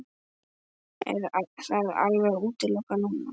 Er það alveg útilokað núna?